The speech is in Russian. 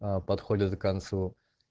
аа подходит к концу